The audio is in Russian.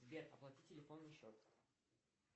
сбер оплати телефонный счет